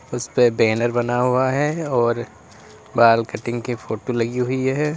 उस पे बैनर बना हुआ है और बाल कटिंग की फोटो लगी हुई है।